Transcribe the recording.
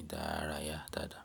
ìdárayá dáadáa.